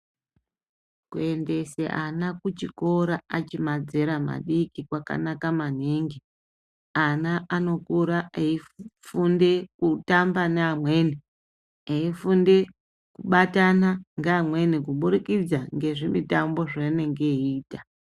Kuendese ana kuchikora achi madzera madiki kwakana maningi ana anokura eifunde kutamba neamwe eifunde kubatana ngeamweni kubudikidza ngezvimutambo zvaanenge eiita.